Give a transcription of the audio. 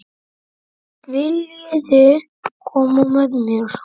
Viljiði koma með mér?